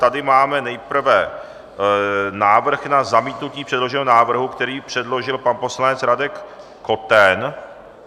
Tady máme nejprve návrh na zamítnutí předloženého návrhu, který předložil pan poslanec Radek Koten.